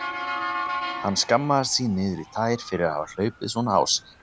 Hann skammaðist sín niður í tær fyrir að hafa hlaupið svona á sig.